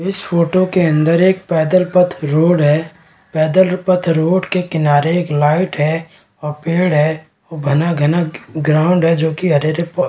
इस फोटो के अंदर एक पैदल पथ रोड है पैदल पथ रोड के किनारे एक लाइट है और पेड़ है घना-घना ग्राउंड है जो की --